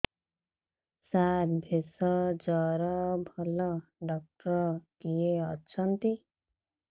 ସାର ଭେଷଜର ଭଲ ଡକ୍ଟର କିଏ ଅଛନ୍ତି